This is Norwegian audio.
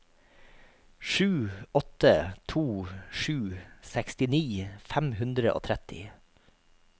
sju åtte to sju sekstini fem hundre og tretti